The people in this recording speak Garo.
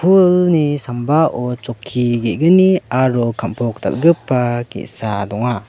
pulni sambao chokki ge·gni aro kam·pok dal·gipa ge·sa donga.